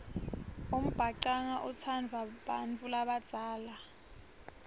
umbhacanga utsandvwa bantfu labadzala